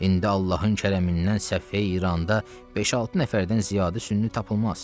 İndi Allahın kərəm-əndən səfeh İranda beş-altı nəfərdən ziyadə sünni tapılmaz.